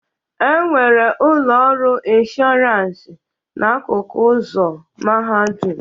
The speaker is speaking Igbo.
E nwere ụlọ ọrụ ịnshọransị n'akụkụ ụzọ Mahadum